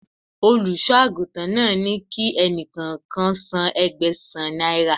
Olùṣọ́ àgùntàn náà ní kí ẹni kọ̀ọ̀kan san Ẹgbẹ̀sán náírà